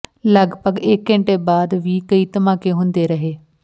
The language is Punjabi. ਲਗਪਗ ਇਕ ਘੰਟੇ ਬਾਅਦ ਵੀ ਕਈ ਧਮਾਕੇ ਹੁੰਦੇ ਰਹੇ